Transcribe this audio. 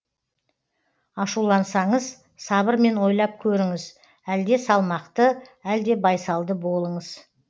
ашулансаңыз сабырмен ойлап көріңіз әлде салмақты әлде байсалды болыңыз